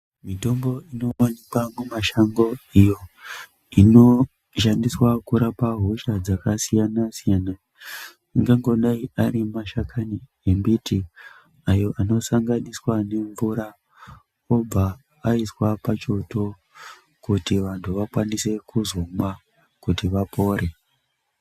Mitombo inoonekwa mumashango iyo inoshandiswa kurapa hosha dzakasiyanasiyana ingangodai ari mashakani embiti ayo anosanganiswa nemvura obva aiswa pachoto kuti vantu vakwanise kuzomwa kuti vapore.